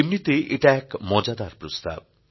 এমনিতে এটা এক মজাদার প্রস্তাব